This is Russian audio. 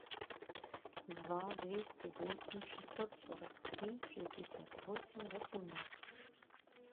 два двести восемь шестьсот сорок три шестьдесят восемь восемнадцать